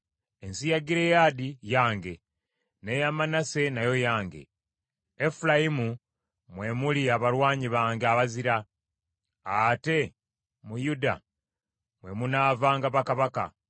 Ensi ya Gireyaadi yange, n’eya Manase nayo yange. Efulayimu mwe muli abalwanyi bange abazira; ate mu Yuda mwe munaavanga bakabaka.